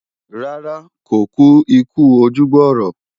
Rárá, kò kú ikú ojú gbọ̀rọ̀